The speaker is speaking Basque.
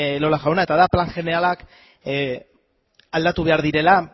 elola jauna eta da plan jeneralak aldatu behar direla